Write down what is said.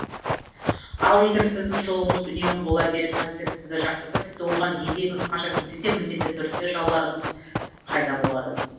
ал егер сіздің жолыңыз үнемі бола беріп сәттілік сізді жақтаса тіпті оған еңбегіңіз қанша сіңсе де міндетті түрде жауларыңыз пайда болады